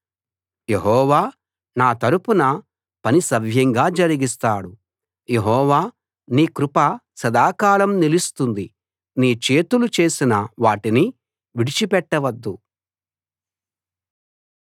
యెహోవా నా తరపున పని సవ్యంగా జరిగిస్తాడు యెహోవా నీ కృప సదాకాలం నిలుస్తుంది నీ చేతులు చేసిన వాటిని విడిచిపెట్టవద్దు